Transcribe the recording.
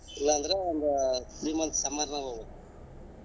ಇಲ್ಲಾಂದ್ರೆ ಒಂದ್ three month summer ನಾಗ ಹೋಗಬೇಕ್.